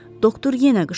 Doktor yenə qışqırdı.